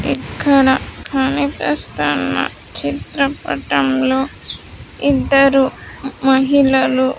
ఇక్కడ కనిపిస్తున్న చిత్రపటంలో ఇద్దరు మహిళలు.